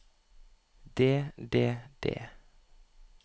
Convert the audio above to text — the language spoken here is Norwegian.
det det det